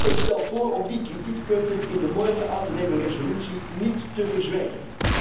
Ik stel voor om die kritiekpunten in de morgen aan te nemen resolutie niet te verzwijgen.